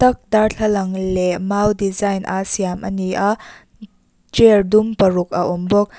darthlalang leh mau design a siam ani a chair dum paruk a awm bawk.